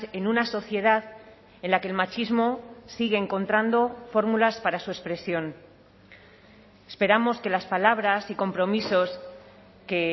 en una sociedad en la que el machismo sigue encontrando fórmulas para su expresión esperamos que las palabras y compromisos que